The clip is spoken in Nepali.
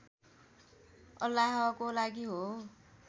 अल्लाहको लागि हो